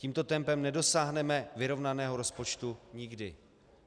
Tímto tempem nedosáhneme vyrovnaného rozpočtu nikdy.